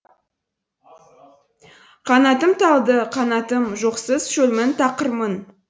қанатым талды қанатым жоқсыз шөлмін тақырмын